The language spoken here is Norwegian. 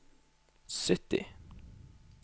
sytti